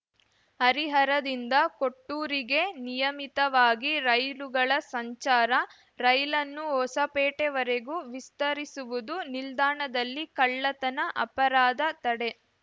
ಹರಿಹರದಿಂದ ಕೊಟ್ಟೂರಿಗೆ ನಿಯಮಿತವಾಗಿ ರೈಲುಗಳ ಸಂಚಾರ ರೈಲನ್ನು ಹೊಸಪೇಟೆವರೆಗೂ ವಿಸ್ತರಿಸುವುದು ನಿಲ್ದಾಣದಲ್ಲಿ ಕಳ್ಳತನ ಅಪರಾಧ ತಡೆ